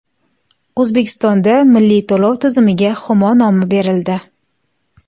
O‘zbekistonda milliy to‘lov tizimiga Humo nomi berildi.